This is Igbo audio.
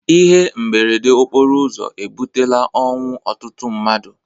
Ihe mberede okporo ụzọ ebutela ọnwụ ọtụtụ mmadụ